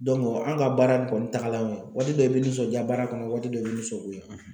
an ka baara in kɔni tagalan ye waati dɔ i be nisɔndiya baara kɔnɔ waati dɔ i bɛ nisɔngoya